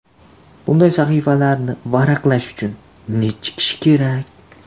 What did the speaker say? Bunday sahifalarni varaqlash uchun necha kishi kerak?